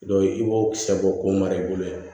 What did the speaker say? i b'o kisɛ bɔ ko mara i bolo yan